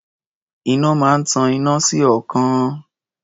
Iná máa ń tan iná sí ọ̀ọ́kán.